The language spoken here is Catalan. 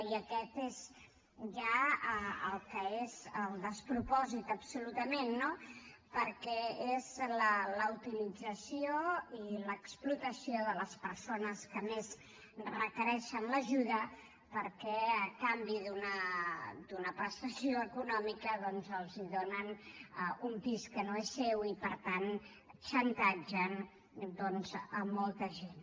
i aquest és ja el que és el despropòsit absolutament no perquè és la utilització i l’explotació de les persones que més requereixen l’ajuda perquè a canvi d’una prestació econòmica els donen un pis que no és seu i per tant xantatgen doncs molta gent